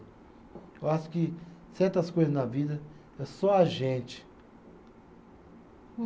Eu acho que certas coisas na vida é só a gente.